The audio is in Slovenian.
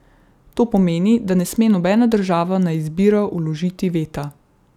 To pomeni, da ne sme nobena država na izbiro vložiti veta.